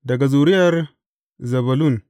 Daga zuriyar Zebulun.